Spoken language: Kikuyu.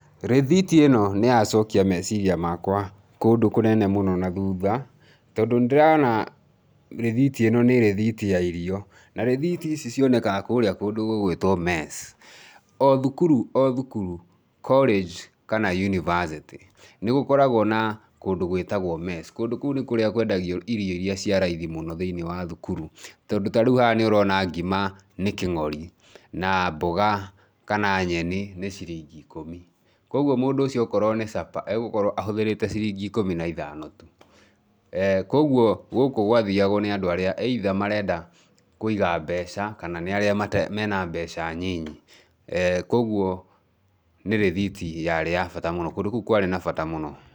Rĩthiti ĩno nĩyacokia meciria makwa kũndũ kũnene mũno nathutha, tondũ nĩndĩrona rĩthiti ĩno nĩ rĩthiti ya irio, na rĩthiti ici cionekaga kũrĩa kũndũ gũgũĩtwo mess. O thukuru o thukuru, college kana university, nĩgũkoragwo na kũndũ gwĩtagwo mess. Kũndũ kũu nĩkuo kwendagio irio iria cia raithi mũno thĩinĩ wa thukuru, tondũ ta rĩu haha nĩũrona ngima naĩ kĩngori, na mboga, kana nyeni nĩ ciringi ikũmi. Kwoguo mũndũ ũcio okorwo ni supper, egũkorwo ahũthĩrĩte ciringi ikũmi na ithano tu. eh Kũoguo gũkũ gwathiagwo nĩ andũ arĩa either marenda kũiga mbeca kana nĩ aria matarĩ, mena mbeca nyinyi, kwoguo nĩ rĩthiti yarĩ ya bata mũno, kũndũ kũu kwarĩ na bata muno.